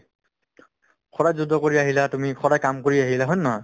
সদায় যুদ্ধ কৰি আহিলা তুমি সদায় কাম কৰি আহিলা হয় নে নহয়